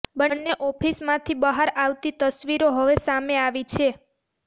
બંને ઓફિસમાંથી બહાર આવતી તસવીરો હવે સામે આવી છે